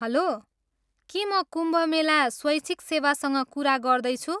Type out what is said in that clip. Hello, के म कुम्भ मेला स्वैच्छिक सेवासँग कुरा गर्दैछु?